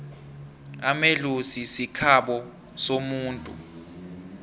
amaellozi sikhabo somuntu